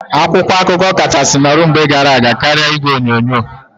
Akwụkwọ akụkọ kachasị nọrọ na mgbe gara aga karịa igwe onyonyo.